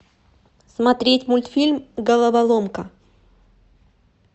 смотреть мультфильм головоломка